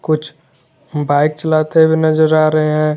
कुछ बाइक चलाते हुए नजर आ रहे हैं।